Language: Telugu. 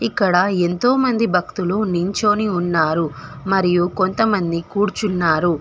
ఇక్కడ ఎంతోమంది భక్తులు నించొని ఉన్నారు మరియు కొంతమంది కూర్చున్నారు.